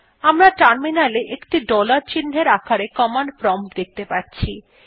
আমরা টার্মিনালে একটি ডলার চিন্হের আকারে কমান্ড প্রম্পট দেখতে পাচ্ছি